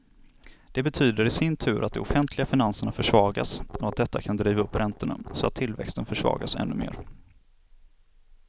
Det betyder i sin tur att de offentliga finanserna försvagas och att detta kan driva upp räntorna, så att tillväxten försvagas ännu mer.